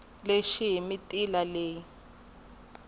lexi hi mitila leyi nga